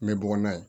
N bɛ bɔ n'a ye